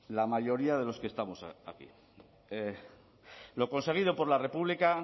la mayoría de los que estamos aquí lo conseguido por la república